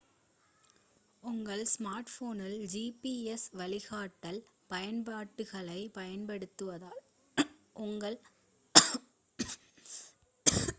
உங்கள் ஸ்மார்ட்போனில் gps வழிகாட்டல் பயன்பாடுகளைப் பயன்படுத்துவதால் உங்கள் சொந்த நாட்டிலிருந்து மற்றொரு நாட்டில் வெளியில் செல்லும்போது எளிதாகவும் வசதியாகவும் இருக்கும்